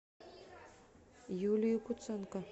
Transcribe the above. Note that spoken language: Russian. юлию куценко